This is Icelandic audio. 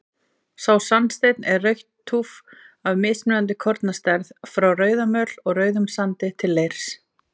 Sá sandsteinn er rautt túff af mismunandi kornastærð, frá rauðamöl og rauðum sandi til leirs.